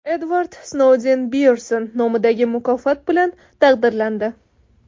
Edvard Snouden Byernson nomidagi mukofot bilan taqdirlandi.